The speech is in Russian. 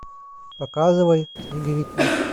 показывай снеговики